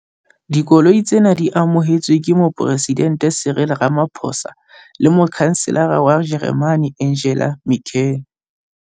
Dikoloi tsena di amohetswe ke Moporesidente Cyril Ramaphosa le Motjhanselara wa Jeremane Angela Merkel.